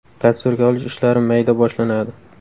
Tasvirga olish ishlari mayda boshlanadi.